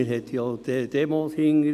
Man hat ja auch die Demos dahinter;